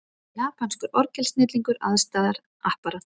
Japanskur orgelsnillingur aðstoðar Apparat